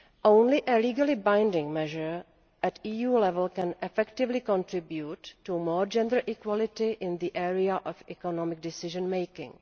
Only a legally binding measure at EU level can effectively contribute to greater gender equality in the area of economic decision making.